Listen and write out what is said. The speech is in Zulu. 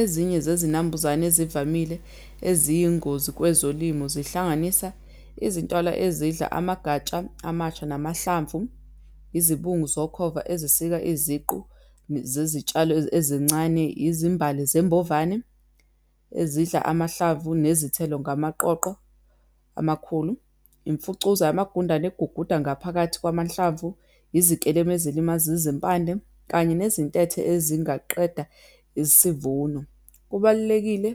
Ezinye zezinambuzane ezivamile eziyingozi kwezolimo, zihlanganisa izintwana ezidla amagatsha amasha namahlamvu, izibungu zokhova ezisika iziqu zezitshalo ezincane, izimbali zembovane ezidla amahlamvu nezithelo ngamaqoqo amakhulu, imfucuza yamagundane eguguda ngaphakathi kwamahlamvu, izikelemu ezilimaza izimpandle, kanye nezintethe ezingaqeda isivuno. Kubalulekile